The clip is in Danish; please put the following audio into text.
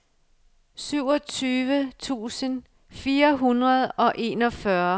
syvogtyve tusind fire hundrede og enogfyrre